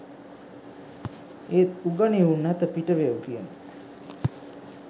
ඒත් "උගනිව් නැත පිටවෙව්" කියන